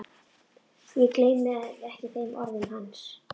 Ég gleymi ekki þeim orðum hans.